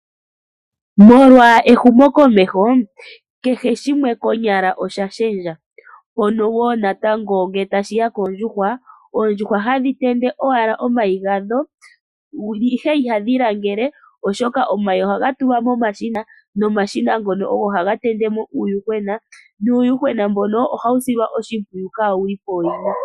Molwa ehumokomeho kehe shimwe konyala osha shendja mpono woo natango ngele tashiya koondjuhwa, oondjuhwa ohadhi tende owala omayi gadho ihe ihadhi langele oshoka omayi ohaga tulwa momashina nomashina ngono ogo haga tendemo uuyuhwena, nuuyuhwena mbono ohawu silwa oshimpwiyu kaawuli pooyina.